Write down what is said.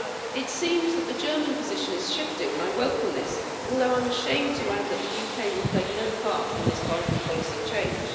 It seems that the German position is shifting and I welcome this, although I'm ashamed to add that the UK will play no part in this vital policy change.